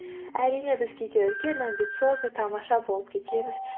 әрине біз кейде үлкен амбициозный тамаша болып кетеміз